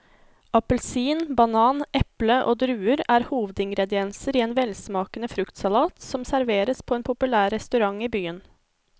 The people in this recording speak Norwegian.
Appelsin, banan, eple og druer er hovedingredienser i en velsmakende fruktsalat som serveres på en populær restaurant i byen.